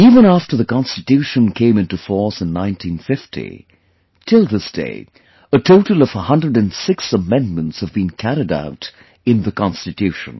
Even after the Constitution came into force in 1950, till this day, a total of 106 Amendments have been carried out in the Constitution